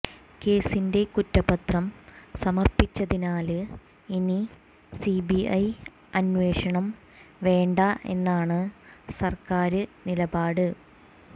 കേസിന്റെ കുറ്റപത്രം സമര്പ്പിച്ചതിനാല് ഇനി സിബിഐ അന്വേഷണം വേണ്ട എന്നാണ് സര്ക്കാര് നിലപാട്